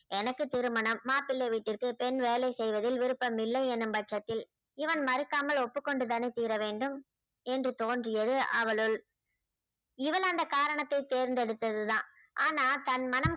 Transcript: எனக்கு திருமணம் மாப்பிளை வீட்டிற்கு பெண் வேலை செய்வதில் விருப்பம் இல்லை எனும் பட்சத்தில் இவன் மறுக்காமல் ஒப்புக்கொண்டு தானே தீர வேண்டும் என்று தோன்றியது அவளுள் இவள் அந்த காரணத்தை தேர்ந்தெடுத்ததுதான் ஆனால் தன் மனம்